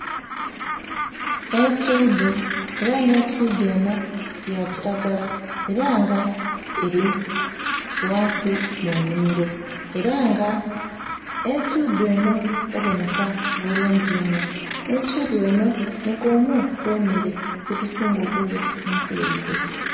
Ensudhu era nga ensudhu enho ya kilagala era nga eri ghansi mu nhimiro era nga ensudhu enho ebonheka bulungi inho. Ensudhu enho nhi kwemu ku mere gye tusinga okulya munsi yaifee.